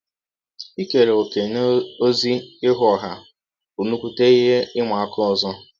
Ikere ọ̀kè n’ọzi ihụ ọha bụ nnụkwụte ihe ịma aka ọzọ.